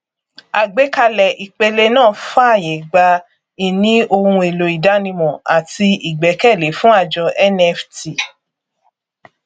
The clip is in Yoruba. àgbékalẹ ìpele náà fààyè gba ìní ohun èèlò ìdánimọ àti ìgbẹkẹlé fún àjọ nft